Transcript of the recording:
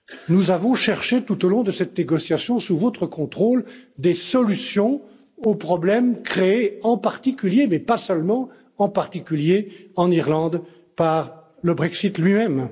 Nous avons cherché tout au long de cette négociation, sous votre contrôle, des solutions aux problèmes créés, en particulier mais pas seulement, en Irlande, par le Brexit lui même.